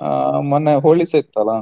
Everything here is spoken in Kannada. ಹ ಮೊನ್ನೆ Holi ಸಾ ಇತ್ತಲ್ಲ.